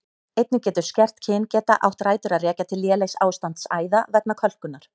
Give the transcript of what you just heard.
Einnig getur skert kyngeta átt rætur að rekja til lélegs ástands æða vegna kölkunar.